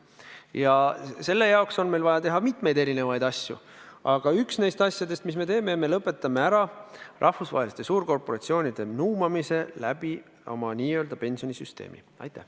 Ja selle jaoks on meil vaja teha palju erinevaid asju, aga üks neist asjadest, mis me teeme, on see, et me lõpetame ära rahvusvaheliste suurkorporatsioonide nuumamise oma pensionisüsteemi kaudu.